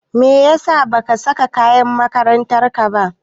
Meyasa ba ka saka kayan makarantar ka ba?